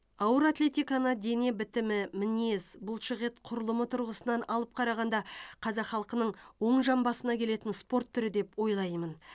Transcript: ауыр атлетиканы дене бітімі мінез бұлшықет құрылымы тұрғысынан алып қарағанда қазақ халқының оң жамбасына келетін спорт түрі деп ойлаймын